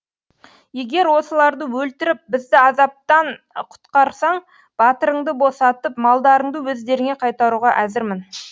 егер осыларды өлтіріп бізді азаптан құтқарсаң батырыңды босатып малдарыңды өздеріңе қайтаруға әзірмін